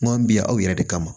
Kuma bɛ yan aw yɛrɛ de kama